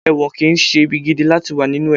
ẹwọ́n kí n se ìbí gídí latí wa ninú e